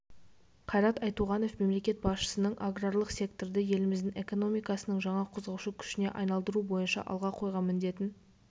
қайрат айтуғанов мемлекет басшысының аграрлық секторды еліміздің экономикасының жаңа қозғаушы күшіне айналдыру бойынша алға қойған міндетін